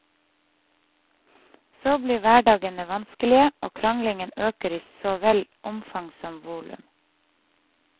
Så blir hverdagene vanskelige og kranglingen øker i så vel omfang som volum.